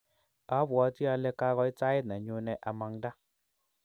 abwatii ale kakoit sait nenyune amangda.